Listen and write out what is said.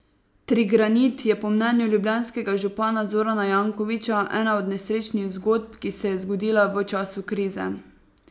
Trigranit je po mnenju ljubljanskega župana Zorana Jankovića ena od nesrečnih zgodb, ki se je zgodila v času krize.